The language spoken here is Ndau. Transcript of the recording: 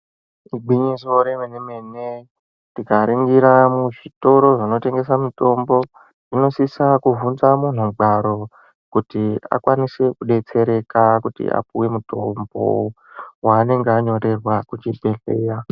Igwinyiso remenemene tikaringira muzvitoro zvinotengesa mitombo munosisa kubvunza murugwaro kuti akwanise kudetsereka kuti apuwe mutombo waanenge anyorerwa kuchibhedhleya.